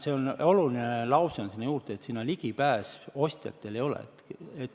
See on oluline lause sinna juurde: sinna ostjatel ligipääsu ei ole.